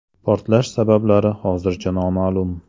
Portlash sabablari hozircha noma’lum.